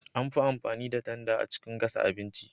An fi amfani da tanda a cikin gasa abinci.